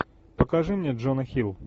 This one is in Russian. покажи мне джона хилл